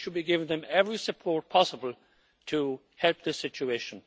We should be giving them every support possible to help the situation.